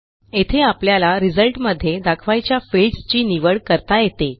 येथे आपल्याला रिझल्ट मध्ये दाखवायच्या फील्ड्स ची निवड करता येते